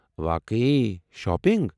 واقعی؟ شاپنٛگ؟